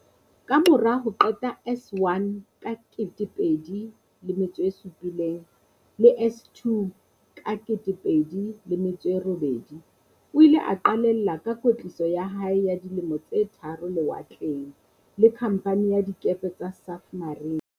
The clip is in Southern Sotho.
Kamora ho qeta S1 ka 2007 le S2 ka 2008, o ile a qalella ka kwetliso ya hae ya di lemo tse tharo lewatleng, le Khamphani ya Dikepe tsa Safmarine.